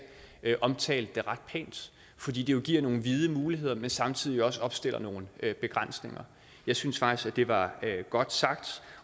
omtalte det ret pænt fordi det jo giver nogle vide muligheder men samtidig også opstiller nogle begrænsninger jeg synes faktisk at det var godt sagt